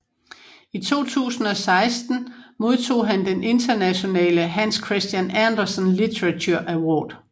I 2016 modtog han den internationale Hans Christian Andersen Literature Award